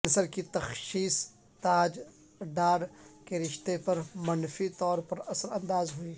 cancer کی تشخیص ساج ڈار کے رشتے پر منفی طور پر اثر انداز ہوئی